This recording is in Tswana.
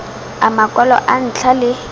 a makwalo a ntlha le